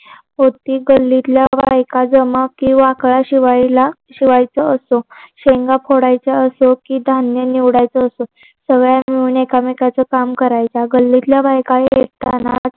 होती गल्लीतल्या बायका जमा कि वाकळा शिवायला शिवायचं असं शेंगा फोडायच असो कि धान्य निवडायचं असो सगळ्या मिळून एकमेकांचे काम करायच्या गल्लीतल्या बायका हे ऐकतानाच